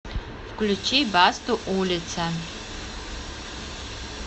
включи басту улица